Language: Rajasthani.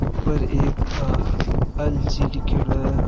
ऊपर एक आ एल.जी. लिख्योड़ो है।